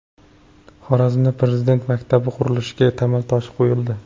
Xorazmda Prezident maktabi qurilishiga tamal toshi qo‘yildi.